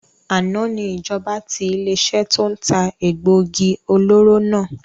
Àná ni ìjọba tí ilé iṣẹ́ to ń ta egbògi olóró náà